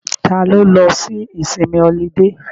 Ta ló lọ sí ìsinmi ọlidé?